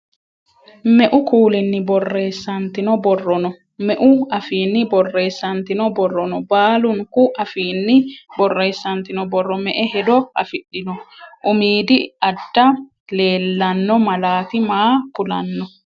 Meu kuulinni borreessantino borro no? Meu afiinni borreessantino borro no? Baalunku afiinni borreessantino borro me"e hedo afidhino? Umiidi adda leelanno malaati maa kulanno?